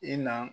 I na